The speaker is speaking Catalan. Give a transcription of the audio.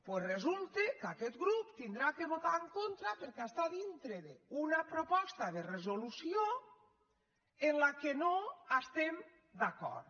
doncs resulta que aquest grup haurà de votar·hi en contra perquè està dintre d’una proposta de resolució en la qual no estem d’acord